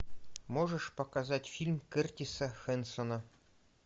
можешь показать фильм кертиса хэнсона